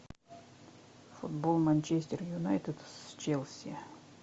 футбол манчестер юнайтед с челси